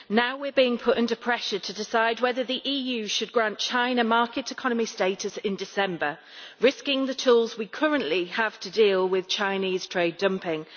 Now we are being put under pressure to decide whether the EU should grant China market economy status in December, risking the tools we currently have to deal with Chinese trade dumping.